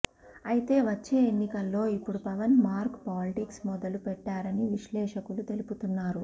అయితే వచ్చే ఎన్నికల్లో ఇప్పుడు పవన్ మార్క్ పాలిటిక్స్ మొదలు పెట్టారని విశ్లేషకులు తెలుపుతున్నారు